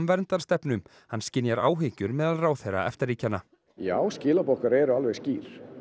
verndarstefnu hann skynjar áhyggjur meðal ráðherra EFTA ríkjanna já skilaboð okkar eru alveg skýr